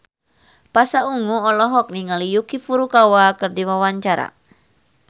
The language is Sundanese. Pasha Ungu olohok ningali Yuki Furukawa keur diwawancara